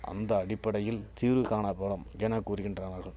அந்த அடிப்படையில் தீர்வு காணபடும் என கூறுகின்றனர்